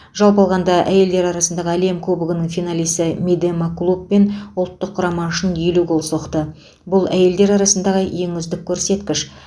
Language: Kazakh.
жалпы алғанда әйелдер арасындағы әлем кубогының финалисі мидема клуб пен ұлттық құрама үшін елу гол соқты бұл әйелдер арасындағы ең үздік көрсеткіш